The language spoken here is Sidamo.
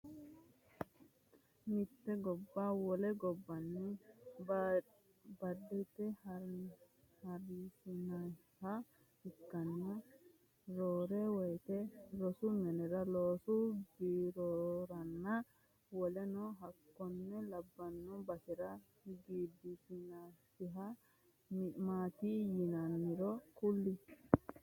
Mitte gobba wole gobbawinni badate horonsi'nanniha ikkanna roore woyite rosu minnara loosu birroranna woleno hakkone labano basera gidisinsanniha maati yinaanniro kuli?